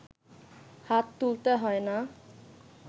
হাত তুলতে হয় না